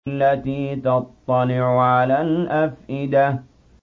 الَّتِي تَطَّلِعُ عَلَى الْأَفْئِدَةِ